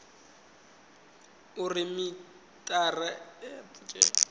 uri mithara a wo ngo